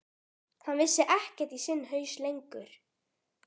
Hann vissi ekkert í sinn haus lengur.